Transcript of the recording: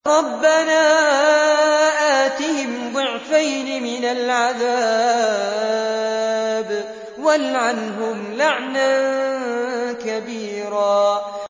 رَبَّنَا آتِهِمْ ضِعْفَيْنِ مِنَ الْعَذَابِ وَالْعَنْهُمْ لَعْنًا كَبِيرًا